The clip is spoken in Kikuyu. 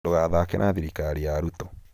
dũgathaake na thirikari ya Ruto